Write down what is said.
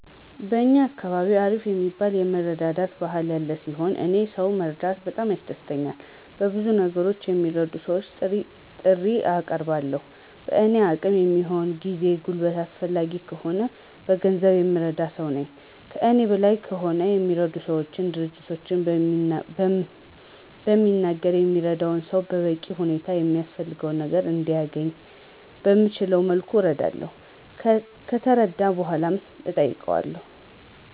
በእኛ አካባቢ አሪፍ የሚባል የመረዳዳት ባህል ያለ ሲሆን፤ እኔም ሰው መርዳት በጣም ደስ ይለኛል። በብዙ ነገሮች ለሚረዱ ሰወች ጥሪ አቀርባለሁ። በእኔ አቅም የሚሆነውን ጊዜ፣ ጉልበት አስፈላጊ ከሆነ በገንዘብ የምረዳ ሰው ነኝ። ከእኔ በላይ ከሆነ የሚረዱ ሰወች፣ ድርጅቶችን በሚናገር የሚረዳው ሰው በበቂ ሁኔታ የሚያስፈልገው ነገር እንዲያነኝ በምችለው መልኩ አረዳለሁ። ከተረዳ በኃላ እጠይቀዋለሁ።